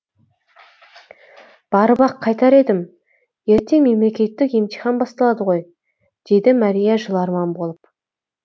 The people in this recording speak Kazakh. барып ақ қайтар едім ертең мемлекеттік емтихан басталады ғой деді мэрия жыларман болып